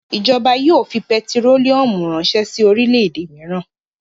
Ìjọba yóò fi pẹtírólíúmù ránṣẹ́ sí orílẹ̀-èdè mìíràn.